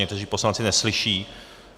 Někteří poslanci neslyší.